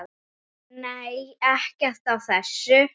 Nei, ekkert af þessu.